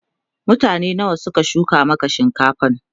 mutane nawa Suka shuka Maka shinkafan?